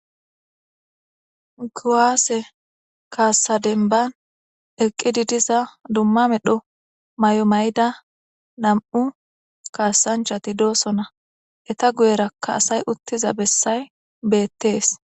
guwaase kaassadenban eqqi didiza dumma medho may7o may7ida nam7u kaassanchati doosona eta guyerakka asay uttiza bessay beettees